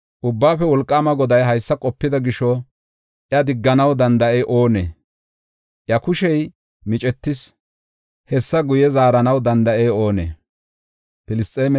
Ubbaafe Wolqaama Goday haysa qopida gisho iya digganaw danda7ey oonee? Iya kushey micetis; hessa guye zaaranaw danda7ey oonee?